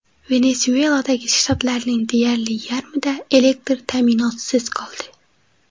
Venesueladagi shtatlarning deyarli yarmida elektr ta’minotisiz qoldi.